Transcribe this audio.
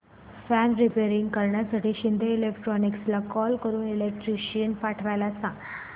fan repair करण्यासाठी शिंदे इलेक्ट्रॉनिक्सला call करून इलेक्ट्रिशियन पाठवायला सांग